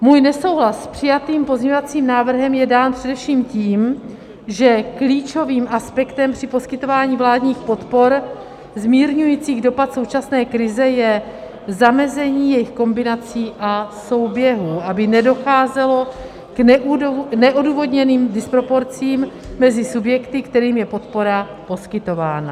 Můj nesouhlas s přijatým pozměňovacím návrhem je dán především tím, že klíčovým aspektem při poskytování vládních podpor zmírňujících dopad současné krize je zamezení jejich kombinací a souběhů, aby nedocházelo k neodůvodněným disproporcím mezi subjekty, kterým je podpora poskytována.